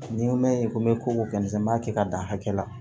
N'i ko mɛɲi ko n bɛ ko kɛ nson n b'a kɛ ka dan hakɛ la